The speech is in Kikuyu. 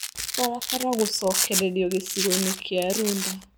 Barabara gũcokererio gĩcigo-inĩ kĩa Runda